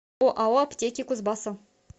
оао аптеки кузбасса